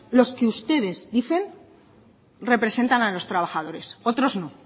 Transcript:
los que ustedes dicen representan a los trabajadores otros no